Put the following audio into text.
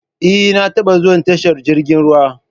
Eh, na taɓa zuwa tashar jirgin ruwa